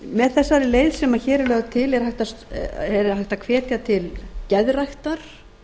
með þessari leið sem hér er lögð til er hægt að hvetja til geðræktar